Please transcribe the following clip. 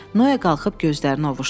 Noa qalxıb gözlərini ovuuşdurdu.